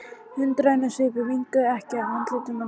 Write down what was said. Undrunarsvipurinn minnkaði ekki á andliti mannsins.